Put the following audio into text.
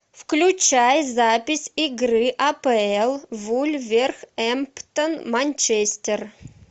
включай запись игры апл вулверхэмптон манчестер